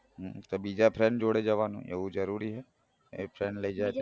તો બીજા friend જોડે જવાનું એવું જરૂરી હે એ friend લઇ જાય તો